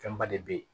Fɛnba de bɛ ye